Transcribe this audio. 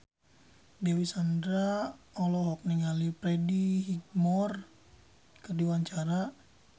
Dewi Sandra olohok ningali Freddie Highmore keur diwawancara